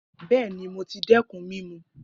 Bẹẹni, Mo ti dẹkun mimu